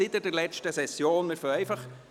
Wir gehen nun der Reihe nach.